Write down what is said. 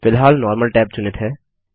फिलहाल normal tab चुनित हैं